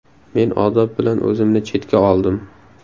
Men odob bilan o‘zimni chetga oldim.